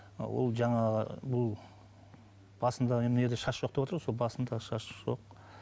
а ол жаңағы бұл басында мына жерде шаш жоқ деватыр ғой сол басында шаш жоқ